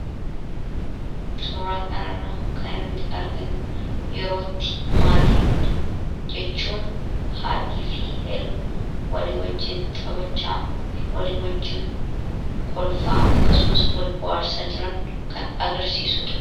Suraa kana irra kan nuti arginu yerootti maatiin jechuun haadhii fi helmi walii wajjiin xabachaa walii wajjiin kolfaa akkasumas wal bu'aarsaa jiran kan agirsiisuudha.